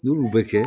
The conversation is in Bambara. N'olu bɛ kɛ